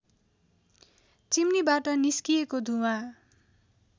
चिम्नीबाट निस्किएको धुवाँ